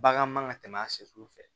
Bagan man ka tɛmɛ a sɛsu fɛ